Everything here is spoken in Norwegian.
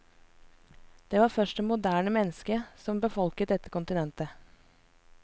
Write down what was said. Det var først det moderne menneske som befolket dette kontinentet.